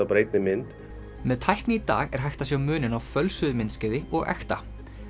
bara einni mynd með tækni í dag er hægt að sjá muninn á fölsuðu myndskeiði og ekta